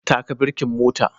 Taka birkin motan